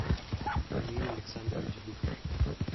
эмиль александрович быков